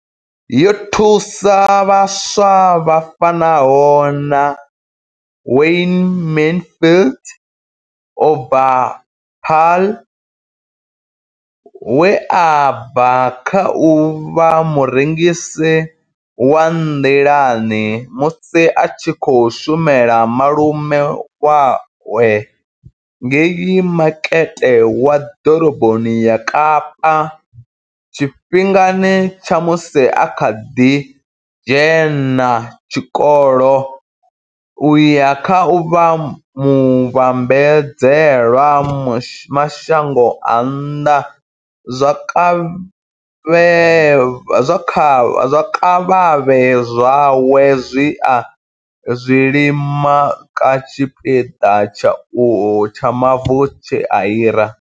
Yo thusa vhaswa vha fanaho na Wayne Mansfield u bva Paarl, we a bva kha u vha murengisi wa nḓilani musi a tshi khou shumela malume awe ngei makete wa ḓoroboni ya Kapa tshifhingani tsha musi a kha ḓi dzhena tshikolo u ya kha u vha muvhambadzela mashango a nnḓa zwikavhavhe zwawe zwine a zwi lima kha tshipiḓa tsha mavu tshe a hira.